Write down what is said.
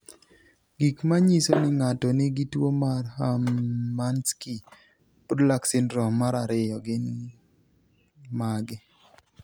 Gik manyiso ni ng'ato nigi tuwo mar Hermansky Pudlak syndrome mar ariyo to gin mage?